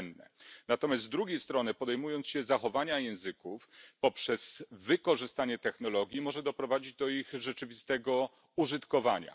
To cenne, natomiast z drugiej strony podejmując się zachowania języków poprzez wykorzystanie technologii, może doprowadzić do ich rzeczywistego użytkowania.